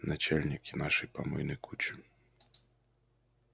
начальники нашей помойной кучи